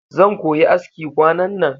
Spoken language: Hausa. Zan koyi aski kwanan nan